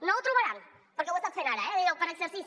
no ho trobaran perquè ho estan fent ara eh per exercici